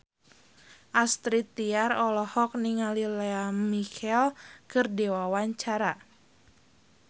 Astrid Tiar olohok ningali Lea Michele keur diwawancara